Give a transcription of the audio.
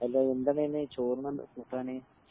അല്ലാ എന്താണ് ചോറ്ന്ണ്ട് കൂട്ടാന്